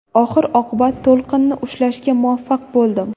Oxir-oqibat to‘lqinni ushlashga muvaffaq bo‘ldim”.